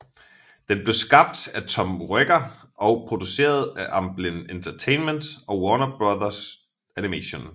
Den blev skabt af Tom Ruegger og produceret af Amblin Entertainment og Warner Bros Animation